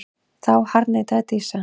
Þá harðneitaði Dísa.